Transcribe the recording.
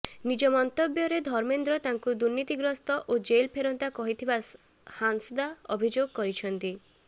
ନିଜ ମନ୍ତବ୍ୟରେ ଧର୍ମେନ୍ଦ୍ର ତାଙ୍କୁ ଦୁର୍ନୀତିଗ୍ରସ୍ତ ଓ ଜେଲ୍ ଫେରନ୍ତା କହିଥିବା ହାଁସଦା ଅଭିଯୋଗ କରିଛନ୍ତି